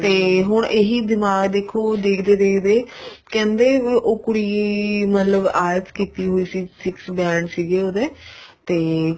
ਤੇ ਹੁਣ ਇਹੀ ਦਿਮਾਗ ਦੇਖੋ ਦੇਖਦੇ ਦੇਖਦੇ ਕਹਿੰਦੇ ਵੀ ਉਹ ਕੁੜੀ ਮਤਲਬ IELTS ਕੀਤੀ ਹੋਈ ਸੀ six band ਸੀਗੇ ਉਹਦੇ ਤੇ